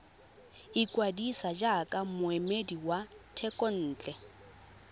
ikwadisa jaaka moemedi wa thekontle